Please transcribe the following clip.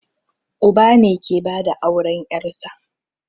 Uba ne ke bada auren ƴarsa